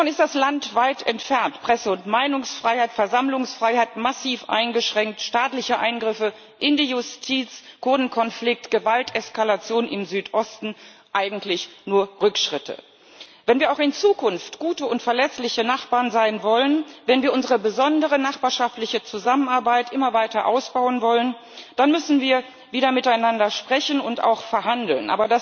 Davon ist das Land weit entfernt Presse und Meinungsfreiheit, Versammlungsfreiheit massiv eingeschränkt, staatliche Eingriffe in die Justiz, Kurdenkonflikt, Gewalteskalation im Südosten eigentlich nur Rückschritte. Wenn wir auch in Zukunft gute und verlässliche Nachbarn sein wollen, wenn wir unsere besondere nachbarschaftliche Zusammenarbeit immer weiter ausbauen wollen, dann müssen wir wieder miteinander sprechen und auch verhandeln.